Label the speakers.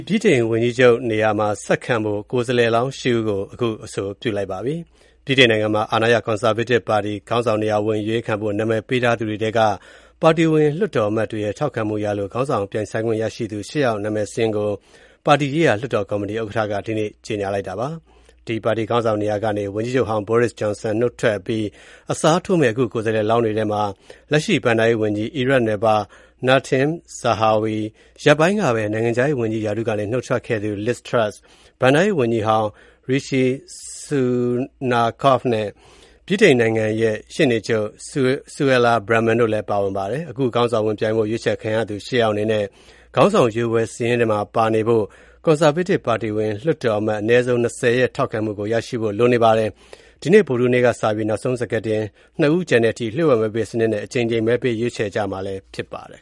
Speaker 1: ဗြိတိန်ဝန်ကြီးချုပ်နေရာ ဆက်ခံဖို့ ကိုယ်စားလှယ်လောင်း ၈ ဦးကို အဆိုပြုလိုက်ပါပြီ။ ဗြိတိန်နိုင်ငံမှာ အာဏာရ Conservative ပါတီခေါင်းဆောင်နေရာဝင် အရွေးခံဖို့ နာမည်ပေးထားသူတွေထဲက ပါတီဝင် လွှတ်တော်အမတ်တွေရဲ့ ထောက်ခံမှုရလို့ ခေါင်းဆောင် ပြိုင်ဆိုင်ခွင့်ရသူ ၈ ယောက် နာမည်စာရင်းကို ပါတီရေးရာလွှတ်တော်ကော်မတီဥက္ကဋ္ဌက ဒီနေ့ ကြေညာလိုက်ပါတယ်။ ဒီပါတီခေါင်းဆောင်နေရာကနေ ဝန်ကြီးချုပ်ဟောင်း Boris Johnson နုတ်ထွက်အပြီး အစားထိုးမယ့် အခုကိုယ်စားလှယ်လောင်းတွေထဲမှာ လက်ရှိဘဏ္ဍာရေးဝန်ကြီး အီရတ်နွယ်ဖွား Nadhim Zahawi၊ ရက်ပိုင်းကပဲ နိုင်ငံခြားရေးဝန်ကြီးရာထူးကနေ နုတ်ထွက်ခဲ့သူ Liz Truss၊ ဘဏ္ဍာရေးဝန်ကြီးဟောင်း Rishi Sunak၊ ဗြိတိန်နိုင် ငံ ရဲ့ ရှေ့နေချုပ် Suella Braverman တို့လည်း ပါဝင်ပါတယ်။ အခုခေါင်းဆောင်ဝင်ပြိုင်ဖို့ ရွေးချယ်ခံရသူ ၈ ယောက်အနေနဲ့ ခေါင်းဆောင်ရွေးပွဲစာရင်းထဲမှာပါနေဖို့ Conservative ပါတီဝင်လွှတ်တော်အမတ် အနည်းဆုံး ၂၀ ရဲ့ ထောက်ခံမှု ရရှိဖို့ လိုပါတယ်။ ဒီနေ့ ဗုဒ္ဓဟူးနေ့ကစပြီး နောက်ဆုံး စကာတင် ၂ ဦးကျန်တဲ့အထိ လျှို့ဝှက်မဲပေးစနစ်နဲ့ အကြိမ်ကြိမ် မဲပေး ရွေးခ
Speaker 2: ျယ်ကြရမှာဖြစ်ပါတယ်။